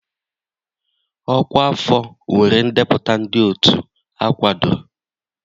Ọkwa afọ nwere ndepụta ndị otu akwadoro